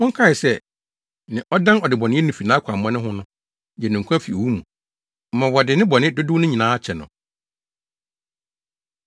monkae sɛ, nea ɔdan ɔdebɔneyɛni fi nʼakwammɔne ho no gye no nkwa fi owu mu ma wɔde ne bɔne dodow no nyinaa kyɛ no.